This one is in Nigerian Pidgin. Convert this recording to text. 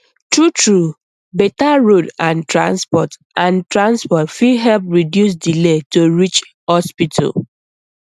truetrue better road and transport and transport fit help reduce delay to reach hospital